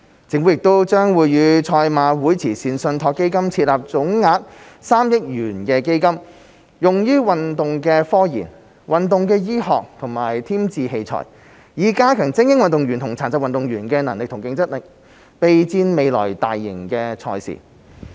政府亦將與賽馬會慈善信託基金設立總額3億元的基金，用於運動科研、運動醫學和添置器材，以加強精英運動員和殘疾運動員的能力和競爭力，備戰未來大型賽事。